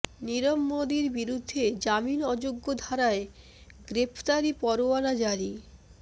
নীরব মোদীর বিরুদ্ধে জামিন অযোগ্য ধারায় গ্রেফতারি পরোয়ানা জারি